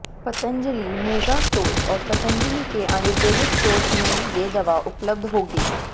Patanjali mega stores और पंतजली के आयुर्वेदिक स्टोर्स में ये दवा उपलब्ध होगी